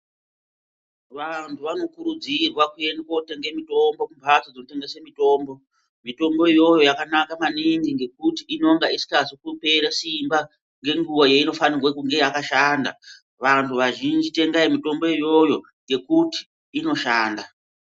Vantu vanokurudzirwa kuende kotende mitombo kumhatso dzinotengese. Mitombo iyoyo yakanaka maningi ngekuti inenge isikazi kupera simba ngenguva yainofanirwe kunga yakashanda. Vantu vazhinji tengai mitombo iyoyo ngekuti inoshanda.